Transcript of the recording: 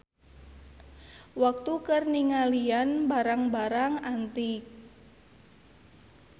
Waktu keur ningalian barang-barang antik.